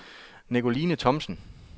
Nicoline Thomsen